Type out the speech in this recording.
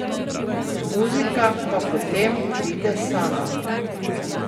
Muzika pa potem pride sama.